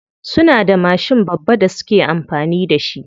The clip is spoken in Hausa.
Suna da mashin babba da suke amfani da shi.